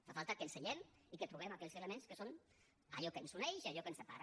fa falta que ens asseiem i que trobem aquells elements que són allò que ens uneix i allò que ens separa